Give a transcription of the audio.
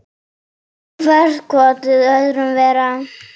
Hvert kotið öðru verra.